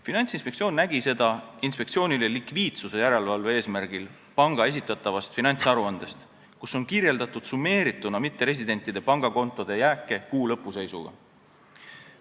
Finantsinspektsioon nägi seda inspektsioonile likviidsuse järelevalve eesmärgil panga esitatavast finantsaruandest, kus on summeerituna kirjeldatud mitteresidentide pangakontode jääke kuu lõpu seisuga.